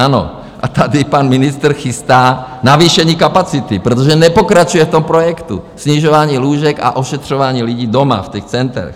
Ano, a tady pan ministr chystá navýšení kapacity, protože nepokračuje v tom projektu snižování lůžek a ošetřování lidí doma, v těch centrech.